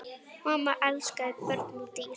Mamma elskaði börn og dýr.